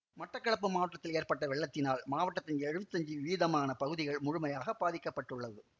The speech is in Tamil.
மட்டக்களப்பு மாவட்டத்தில் ஏற்பட்ட வெள்ளத்தினால் மாவட்டத்தின் எழுவத்தஞ்சு வீதமான பகுதிகள் முழுமையாக பாதிக்க பட்டுள்ளது